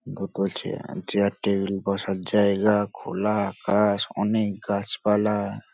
দুটো chair table বসার জায়গা খোলা আকাশ অনেক গাছপালা।